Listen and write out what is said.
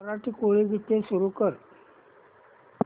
मराठी कोळी गीते सुरू कर